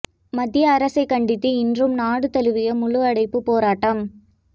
மத்திய அரசை கண்டித்து இன்றும் நாடு தழுவிய முழுஅடைப்பு போராட்டம்